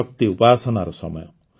ଶକ୍ତି ଉପାସନାର ସମୟ